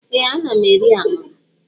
Ee ana mụ eri Amala.